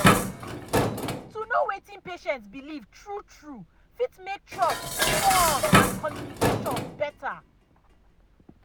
to know wetin patient believe true true fit make trust strong and communication better.